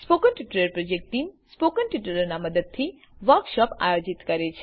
spoken tutorial project team spoken ટ્યુટોરીયલોનાં ઉપયોગથી વર્કશોપોનું આયોજન કરે છે